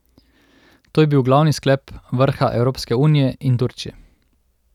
To je bil glavni sklep vrha Evropske unije in Turčije.